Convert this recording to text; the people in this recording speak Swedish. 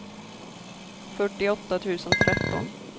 fyrtioåtta tusen tretton